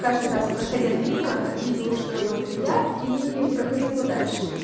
каждый раз проходя мимо видела что работаю я и проходила дальше